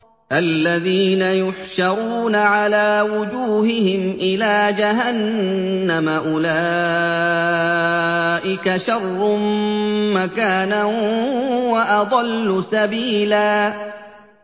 الَّذِينَ يُحْشَرُونَ عَلَىٰ وُجُوهِهِمْ إِلَىٰ جَهَنَّمَ أُولَٰئِكَ شَرٌّ مَّكَانًا وَأَضَلُّ سَبِيلًا